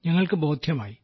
ഞങ്ങൾക്ക് ബോദ്ധ്യമായി